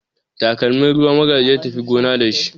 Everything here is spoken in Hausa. Takalmin ruwa Magaji ya tafi gona da shi jiya.